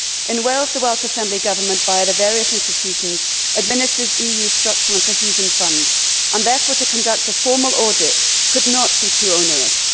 In Wales, the Welsh Assembly government, via the various institutions, administers EU structural and cohesion funds and, therefore, to conduct a formal audit could not be too onerous.